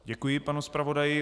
Děkuji panu zpravodaji.